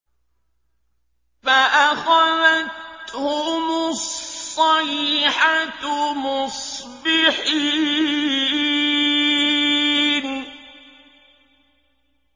فَأَخَذَتْهُمُ الصَّيْحَةُ مُصْبِحِينَ